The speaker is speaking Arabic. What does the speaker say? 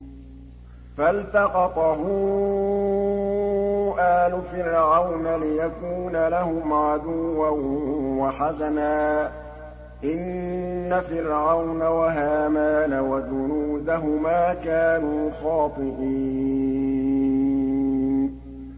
فَالْتَقَطَهُ آلُ فِرْعَوْنَ لِيَكُونَ لَهُمْ عَدُوًّا وَحَزَنًا ۗ إِنَّ فِرْعَوْنَ وَهَامَانَ وَجُنُودَهُمَا كَانُوا خَاطِئِينَ